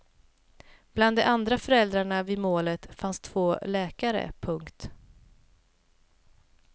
Bland de andra föräldrarna vid målet fanns två läkare. punkt